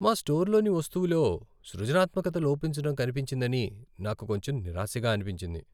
మా స్టోర్లోని వస్తువులో సృజనాత్మకత లోపించడం కనిపించిందని నాకు కొంచెం నిరాశగా అనిపించింది.